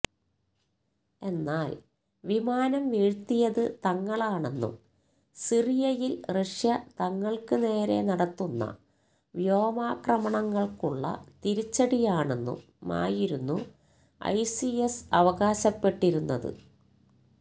എന്നാൽ വിമാനം വീഴ്ത്തിയത് തങ്ങളാണെന്നും സിറിയയിൽ റഷ്യ തങ്ങൾക്ക് നേരെ നടത്തുന്ന വ്യോമാക്രമണങ്ങൾക്കുള്ള തിരിച്ചടിയാണെന്നുമായിരുന്നു ഐസിസ് അവകാശപ്പെട്ടിരുന്നത്